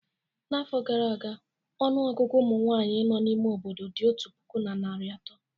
N'afọ gara aga, ọnụ ọgụgụ ụmụ nwanyị nọ n'ime obodo dị otu puku na narị atọ